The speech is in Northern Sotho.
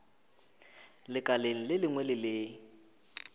lekaleng le lengwe le le